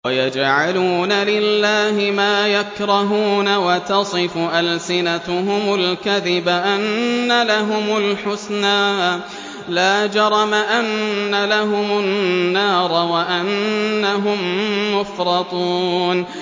وَيَجْعَلُونَ لِلَّهِ مَا يَكْرَهُونَ وَتَصِفُ أَلْسِنَتُهُمُ الْكَذِبَ أَنَّ لَهُمُ الْحُسْنَىٰ ۖ لَا جَرَمَ أَنَّ لَهُمُ النَّارَ وَأَنَّهُم مُّفْرَطُونَ